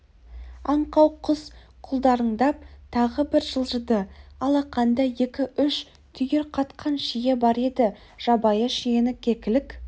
аңқау құс құлдырыңдап тағы бір жылжыды алақанда екі-үш түйір қатқан шие бар еді жабайы шиені кекілік